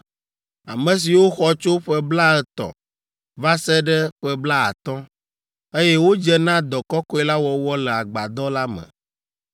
ame siwo xɔ tso ƒe blaetɔ̃ va se ɖe ƒe blaatɔ̃, eye wodze na dɔ kɔkɔe la wɔwɔ le agbadɔ la me.